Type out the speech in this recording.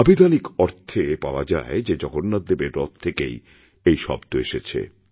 আভিধানিক অর্থে পাওয়া যায় যে জগন্নাথদেবেররথ থেকেই এই শব্দ এসেছে